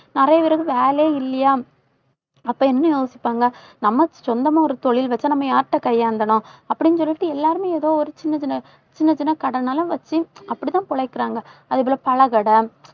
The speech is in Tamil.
நிறைய பேருக்கு வேலையே இல்லையாம். அப்ப என்ன யோசிப்பாங்க நம்ம சொந்தமா ஒரு தொழில் வச்சா நம்ம யார்கிட்ட கையேந்தணும் அப்படின்னு சொல்லிட்டு எல்லாருமே ஏதோ ஒரு சின்ன, சின்ன சின்னச் சின்ன கடைன்னாலும் வச்சு அப்படித்தான் பொழைக்கிறாங்க. அதே போல, பழக்கடை